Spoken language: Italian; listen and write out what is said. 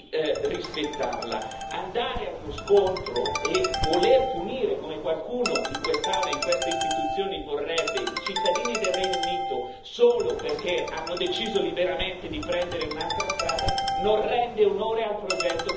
Andare a uno scontro e voler punire, come qualcuno in quest'Aula e in queste istituzioni vorrebbe, i cittadini del Regno Unito solo perché hanno deciso liberamente di prendere un'altra strada non rende onore al progetto che volete sostenere.